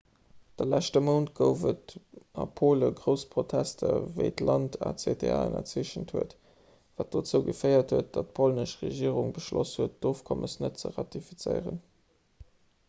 de leschte mount gouf et a pole grouss protester wéi d'land acta ënnerzeechent huet wat dozou geféiert huet datt d'polnesch regierung beschloss huet d'ofkommes net ze ratifizéieren